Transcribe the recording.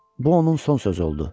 Bu onun son sözü oldu.